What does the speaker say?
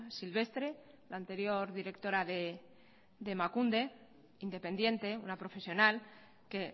silvestre la anterior directora de emakunde independiente una profesional que